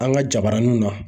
An ka jabaraninw na